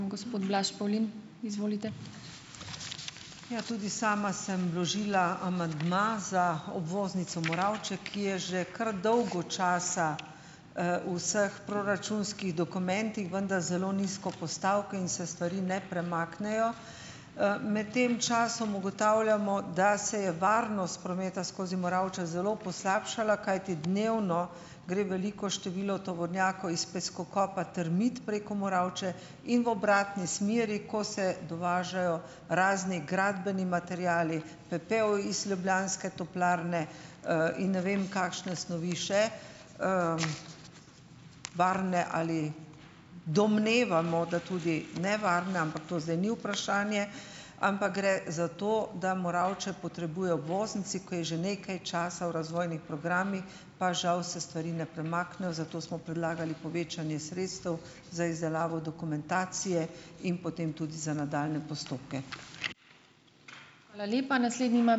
Ja. Tudi sama sem vložila amandma za obvoznico Moravče, ki je že kar dolgo časa, v vseh proračunskih dokumentih, vendar zelo nizko postavko in se stvari ne premaknejo. Med tem časom ugotavljamo, da se je varnost prometa skozi Moravče zelo poslabšala, kajti dnevno gre veliko število tovornjakov iz peskokopa Termit preko Moravče in v obratni smeri, ko se dovažajo razni gradbeni materiali, pepel iz ljubljanske toplarne, in ne vem kakšne snovi še, varne ali, domnevamo, da tudi nevarne, ampak to zdaj ni vprašanje, ampak gre za to, da Moravče potrebuje obvoznico, ko je že nekaj časa v razvojnih programih, pa žal se stvari ne premaknejo, zato smo predlagali povečanje sredstev za izdelavo dokumentacije in potem tudi za nadaljnje postopke.